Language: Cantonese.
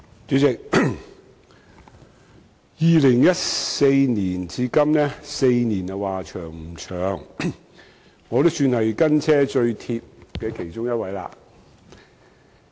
主席 ，2014 年至今4年，時間說長不長，但我也算是"跟車最貼"的其中一人。